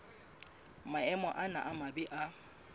maemo ana a mabe a